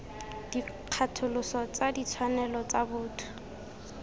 dikgatholoso tsa ditshwanelo tsa botho